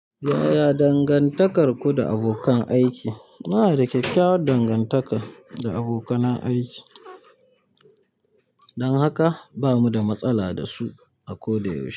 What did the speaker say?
Yaya dangantakarku da abokan aiki? Muna da kyakkyawar dangantaka da abokanan aiki, dan haka bamu da matsala da su a ko da yaushe.